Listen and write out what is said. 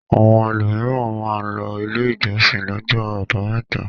Àwọn ẹlòmíràn máa ń lọ ilé ìjọsìn lọ́jọ́ àbámẹ́ta.